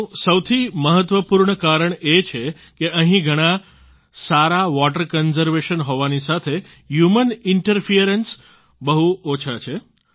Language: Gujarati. તેનું સૌથી મહત્વપૂર્ણ કારણ એ છે કે અહીં ઘણાં સારા વોટર કન્ઝર્વેશન હોવાની સાથે હ્યુમન ઇન્ટરફરન્સ બહુ ઓછા છે